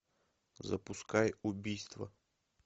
запускай убийство